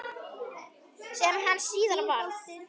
Sem hann síðar varð.